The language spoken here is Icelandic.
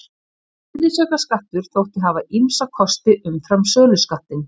Virðisaukaskattur þótti hafa ýmsa kosti umfram söluskattinn.